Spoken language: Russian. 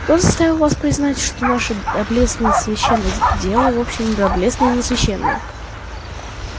кто заставил вас признать что наше доблестное священное дело вовсе не доблестное и не священное